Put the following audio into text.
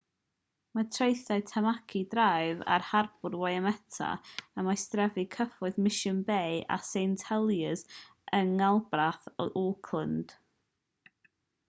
mae traethau tamaki drive ar harbwr waitemata ym maestrefi cyfoethog mission bay a st heliers yng nghanolbarth auckland